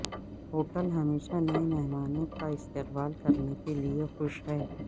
hotel ہمیشہ نئے مہمانوں کا استقبال کرنے کے لئے خوش ہیں